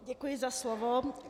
Děkuji za slovo.